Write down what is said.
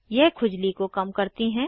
यह खुजली को कम करती हैं